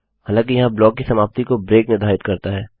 हालाँकि यहाँ ब्लॉक की समाप्ति को ब्रेक निर्धारित करता है